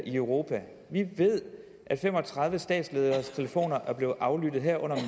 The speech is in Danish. i europa vi ved at fem og tredive statslederes telefon er blevet aflyttet herunder